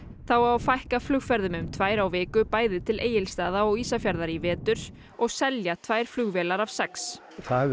þá á að fækka flugferðum um tvær á viku bæði til Egilsstaða og Ísafjarðar í vetur og selja tvær flugvélar af sex það hefur